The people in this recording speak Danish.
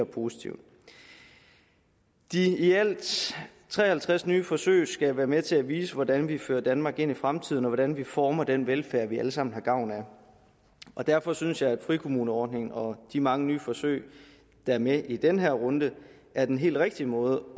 positivt de i alt tre og halvtreds nye forsøg skal være med til at vise hvordan vi fører danmark ind i fremtiden og hvordan vi former den velfærd vi alle sammen har gavn af og derfor synes jeg at frikommuneordningen og de mange nye forsøg der er med i den her runde er den helt rigtige måde